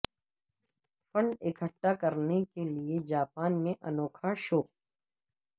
fund اکھٹا کرنے کے لیے جاپان میں انوکھا فیشن شو